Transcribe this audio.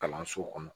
Kalanso kɔnɔ